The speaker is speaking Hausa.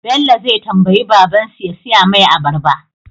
Bello zai tambayi baban su ya siya mai abarba